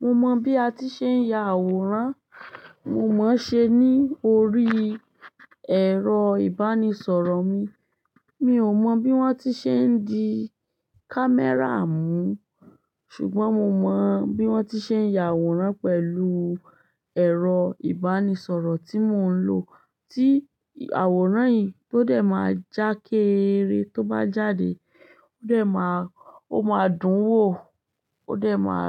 Mo mọ bí a ti ṣe ń ya àwòrán, mo mọ ṣé ní orí ẹ̀rọ ìbánisọ̀rọ̀ mi. Mi ò mọ bí wón ti ṣe ń di camera mú, ṣùgbọ́n mo mọ bí wón ti ṣe ń ya àwòrán pẹ̀lú ẹ̀rọ ìbánisọ̀rọ̀ tí mò ń lò. Tí àwòrán yìí tó dẹ máa já kééré, tó bá jáde ó dẹ máa, o máa dùn wò, ó dẹ máa